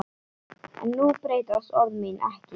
En nú breytast orð mín ekki.